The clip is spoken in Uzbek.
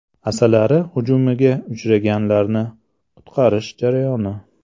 Asalari hujumiga uchraganlarni qutqarish jarayoni.